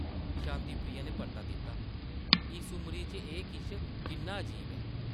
शांति प्रिया नै परता दित्ता ,‘‘ इस उमरी च एह् किश, किन्ना अजीब ऐ ।’’